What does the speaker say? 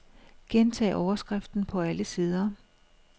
Gentag overskriften på alle sider.